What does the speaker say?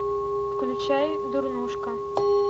включай дурнушка